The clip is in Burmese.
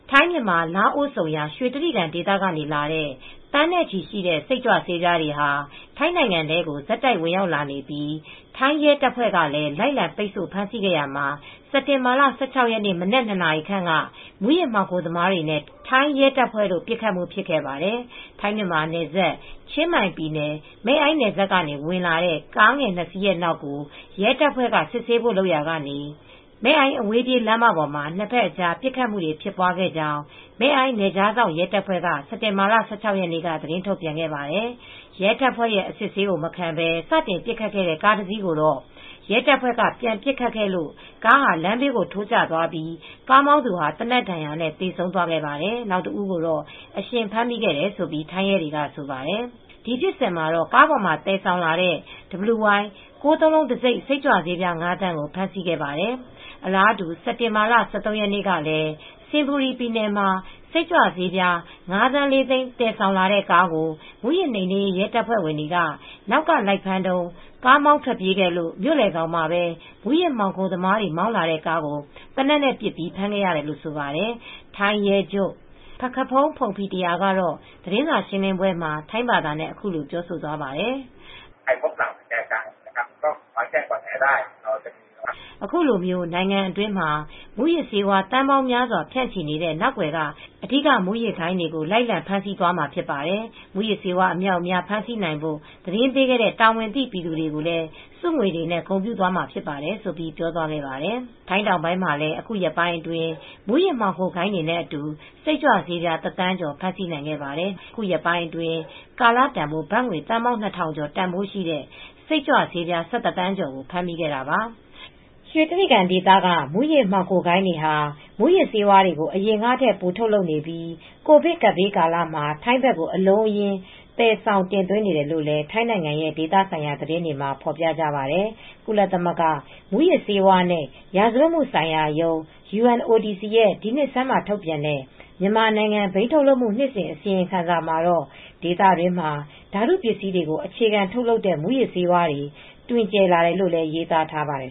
ထိုင်း၊ မြန်မာ၊ လာအို ဆုံရာ ရွှေတြိဂံဒေသကလာတဲ့ သန်းနဲ့ချီရှိတဲ့ စိတ်ကြွဆေးပြားတွေဟာ ထိုင်းနိုင်ငံထဲကို ဆက်တိုက်ဝင်ရောက်လာနေပြီး ထိုင်းရဲတပ်ဖွဲ့ကလည်း လိုက်လံပိတ်ဆို့ ဖမ်းဆီးခဲ့ရာမှာ စက်တင်ဘာလ ၁၆ရက် မနက်(၂)နာရီခန့်က မူးယစ်မှောင်ခိုသမားတွေနဲ့ ထိုင်းရဲတပ်ဖွဲတို့ ပစ်ခတ်မူဖြစ်ခဲ့ပါတယ်။ ထိုင်း၊ မြန်မာနယ်စပ် ချင်းမိုင် ပြည်နယ် မဲအိုင့်နယ်စပ်ကနေ ဝင်လာတဲ့ ကားငယ်နှစ်စီးနောက်ကို ရဲတပ်ဖွဲ့ စစ်ဆေးဖို့လုပ်ရာကနေ မယ်အိုင့် အဝေးပြေးလမ်းမပေါ်မှာ နှစ်ဖက်အကြား ပစ်ခတ်မှုတွေဖြစ်ပွားခဲ့ကြောင်း မဲအိုင်း နယ်ခြားစောင့်ရဲတပ်ဖွဲ က စက်တင်ဘာလ ၁၆ရက်နေ့က သတင်းထုတ်ပြန်ခဲ့ပါတယ်။ ရဲတပ်ဖွဲ့ရဲ့ အစစ်ဆေးမခံပဲ စတင်ပစ်ခတ်ခဲ့တဲ့ ကားတစ်စီးကိုတော့ ရဲတပ်ဖွဲ့က ပြန်ပစ်ခတ်ခဲ့လို့ ကားဟာလမ်းဘေးထိုးကျသွားပြီး ကားမောင်းသူဟာ သေနတ်ဒဏ်ရာနဲ့သေဆုံးခဲ့တာပါ ။ နောက်တဦးကိုတော့ အရှင်ဖမ်းမိခဲ့တယ်လို့ ထိုင်းရဲတွေကဆိုပါတယ်။ ဒီဖြစ်စဉ်မှာတော့ ကားပေါ်မှာသယ်ဆောင်လာတဲ့ WY 999 တံဆိပ် စိတ်ကြွဆေး ၅သန်းကို ဖမ်းဆီးခဲ့ပါတယ် ။ အလားတူ စက်တင်ဘာလ ၁၃ရက်နေ့ကလည်း စင်ဘူရီပြည်နယ်မှာ စိတ်ကြွဆေးပြား ၅သန်း လေးသိန်း တင်ဆောင်လာတဲ့ကားကို မူးယစ်နှိမ်နင်းရေး ရဲတပ်ဖွဲ့က နောက်ကလိုက်ဖမ်းတုန်း ကားမောင်းပြေးခဲ့လို့ မြို့လည်ခေါင်းမှာပဲ မူးယစ်မှောင်ခိုသမားတွေ မောင်းလာတဲ့ကားကို သေနတ်နဲ့ပစ်ပြီးဖမ်းခဲ့ရတယ်လို့ ဆိုပါတယ် ။ ထိုင်းရဲချုပ် Mr.Pakkapong Pongpetra ကတော့ သတင်းစာရှင်းလင်းပွဲမှာ ထိုင်းဘာသာနဲ့ အခုလိုပြောသွားပါတယ် ။ "အခုလို နိုင်ငံတွင်းမှာ မူးယစ်ဆေးဝါးသန်းပေါင်းများစွာဖြန့်ချီနေတဲ့ နောက်ကွယ်က အဓိက မူယစ်ဂိုဏ်းတွေကို လိုက်လံဖမ်းဆီးသွားမှာဖြစ်ပါတယ်။ မူးယစ်ဆေးတွေ အမြောက်အမြား ဖမ်းဆီးနိုင်ဖို့သတင်းပေးတဲ့ တာဝန်သိပြည်သူတွေကို ဆုငွေနဲ့ဂုဏ်ပြုသွားမှာဖြစ်တယ်လို"့ ပြောသွားပါတယ်။ ထိုင်းတောင်ပိုင်းမှာလည်း အခုရက်ပိုင်းအတွင်း မူးယစ်ဂိုဏ်းဝင်တွေနဲ့အတူ စိတ်ကြွဆေး တသန်းကျော် ဖမ်းဆီးနိုင်ခဲ့ပါတယ်။ အခုရက်ပိုင်းအတွင်းမှာတော့ ကာလတန်ဖိုးဘတ်ငွေ သန်းပေါင်းနှစ်ထောင်ကျော် တန်ဖိုးရှိတဲ့စိတ်ကြွဆေး ၁၁သန်းကျော်ကို ဖမ်းမိခဲ့တာပါ ။ ရွှေကြိဂံဒေသက မူးယစ်မှောင်ဂိုဏ်းတွေဟာ မူးယစ်ဆေးတွေကို အရင်ကထက် ပိုထုတ်လုပ်နေပြီး ကိုဗစ်ကပ်ဘေးကာလမှာ ထိုင်းဘက်ကိုအလုံးအရင်း သယ်ဆေ ာင်တင်သွင်းနေတယ်လို့လည်း ထိုင်းနိုင်ငံရဲ့ဒေသဆိုင်ရာသတင်းတွေမှာ ဖေါ်ပြကြပါတယ်။ ကုလသမဂ္ဂ မူးယစ်ဆေးဝါးနဲ့ ရာဇဝတ်မှုဆိုင်ရာရုံး (UNODC) ရဲ့ ဒီနှစ်ဆန်းမှာ ထုတ်ပြန်တဲ့ မြန်မာနိုင်ငံ ဘိန်းထုတ်လုပ်မှု နှစ်စဉ် အစီရင်ခံစာမှာတော့ ဒေသတွင်းမှာ ဓာတုပစ္စည်းတွေကို အခြေခံထုတ်လုပ်တဲ့ မူးယစ်ဆေးဝါးတွေ တွင်ကျယ်လာတယ်လို့လည်း ရေးသားထားပါတယ